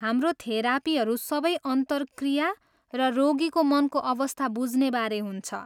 हाम्रो थेरापीहरू सबै अन्तरक्रिया र रोगीको मनको अवस्था बुझ्नेबारे हुन्छ।